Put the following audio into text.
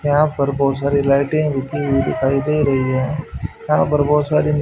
यहां पर बहुत सारी लाइटें झुकी हुई दिखाई दे रही है यहां पर बहोत सारी--